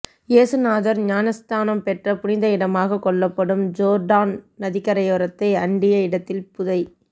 இயேசுநாதர் ஞானஸ்ஞானம் பெற்ற புனித இடமாகக் கொள்ளப்படும் ஜோர்டான் நதிக்கரையோரத்தை அண்டிய இடத்தில் புதை